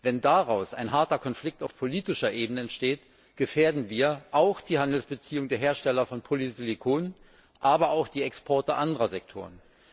Wenn daraus ein harter Konflikt auf politischer Ebene entsteht, gefährden wir die Handelsbeziehungen der Hersteller von Polysilizium, aber auch die Exporte anderer Sektoren.